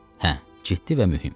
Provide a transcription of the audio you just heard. Hə, ciddi və mühüm.